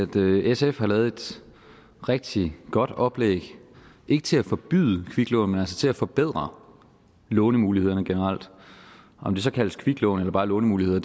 vi at sf har lavet et rigtig godt oplæg ikke til at forbyde kviklån men altså til at forbedre lånemulighederne generelt om det så kaldes kviklån eller bare lånemuligheder